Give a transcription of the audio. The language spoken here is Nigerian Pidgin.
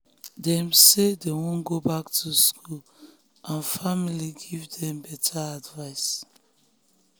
dem talk say dem wan go back school and family give them better advice.